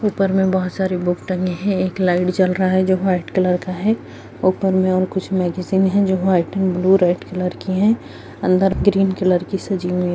ऊपर में बहुत सारी बुक टंगी है एक लाइट जल रहा है जो व्हाइट कलर का है ऊपर में और कुछ मैगजीन है जो white and blue red colour की है अंदर ग्रीन कलर की सजी हुई --